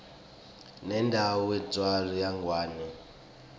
lenayindzawo yakangwane